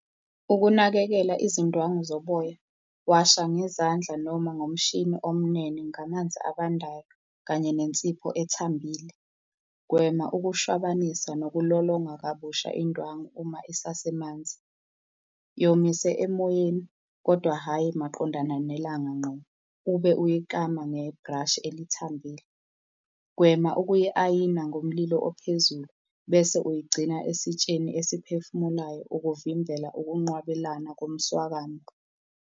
Ukunakekela izindwangu zoboya, washa ngezandla noma ngomshini omnene, ngamanzi abandayo kanye nensipho ethambile. Gwema ukushwabanisa nokulolonga kabusha indwangu uma isasemanzi. Yomise emoyeni kodwa hhayi maqondana nelanga ngqo, ube uyikama nge-brush elithambile. Gwema ukuyi-ayina ngomlilo ophezulu, bese uyigcina esitsheni esiphefumulayo ukuvimbela ukunqwabelana komswakamo.